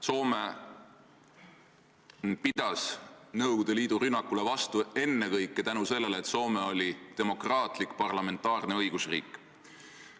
Soome pidas Nõukogude Liidu rünnakule vastu ennekõike tänu sellele, et Soome oli demokraatlik parlamentaarne õigusriik.